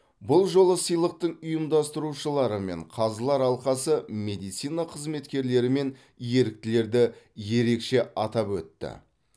бұл жолы сыйлықтың ұйымдастырушылары мен қазылар алқасы медицина қызметкерлері мен еріктілерді ерекше атап өтті